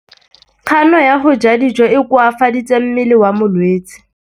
Kganô ya go ja dijo e koafaditse mmele wa molwetse.